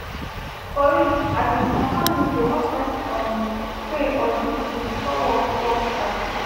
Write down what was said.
for real asin some families dey want fess um pray or do juju before work work start